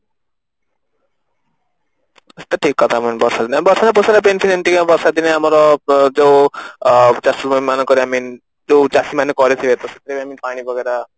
ଠିକ କଥା ବର୍ଷା ଦିନେ ଆମର ଚାଷୀ ଭାଇମାନଙ୍କର I mean ଜଉ ଚାଷୀ ମାନେ କରିଥିବେ ପାଣି